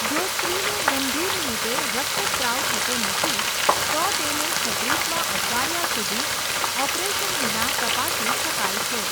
જો સ્ત્રીને ગંભીર રીતે રક્તસ્ત્રાવ થતો નથી, તો તેને છત્રીસમા અઠવાડિયા સુધી ઓપરેશન વિના તપાસી શકાય છે.